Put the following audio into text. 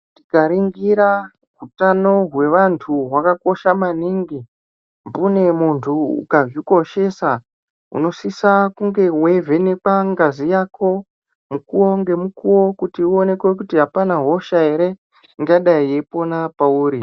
Tikaningira hutano hwevantu hwakakosha maningi mbune muntu ukazvikoshesa unosisa kunge weivhenekwa ngazi Yako mukuwo ngemukuwo kuti uonekwe kuti hapana hosha ere ingadai eipona pauri.